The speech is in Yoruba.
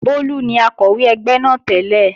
Bólú ni Akọ̀wé ẹgbẹ́ náà tẹ́lẹ̀